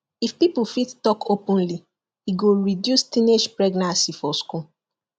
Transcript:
if people fit talk openly e go reduce teenage pregnancy for school